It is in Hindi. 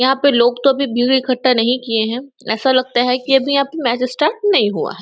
यहाँ पर लोग तो बीड़ा इकट्ठा नहीं किये है ऐसा लगता है अभी यहाँ मैच स्टार्ट नहीं हुआ है।